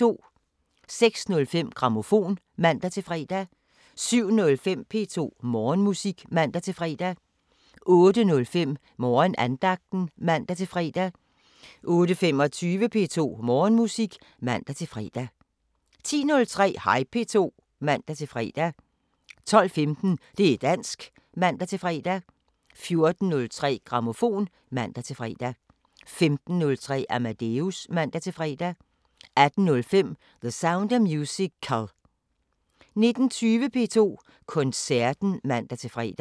06:05: Grammofon (man-fre) 07:05: P2 Morgenmusik (man-fre) 08:05: Morgenandagten (man-fre) 08:25: P2 Morgenmusik (man-fre) 10:03: Hej P2 (man-fre) 12:15: Det´ dansk (man-fre) 14:03: Grammofon (man-fre) 15:03: Amadeus (man-fre) 18:05: The Sound of Musical 19:20: P2 Koncerten (man-fre)